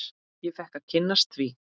Ég fékk að kynnast því.